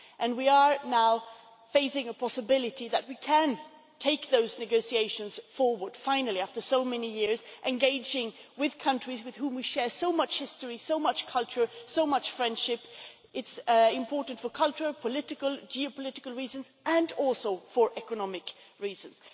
We are now facing the possibility that we can finally take those negotiations forward after so many years, engaging with countries with whom we share so much history, so much culture and so much friendship. It is important for cultural, political, geopolitical reasons, and also for economic reasons.